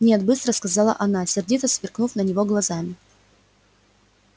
нет быстро сказала она сердито сверкнув на него глазами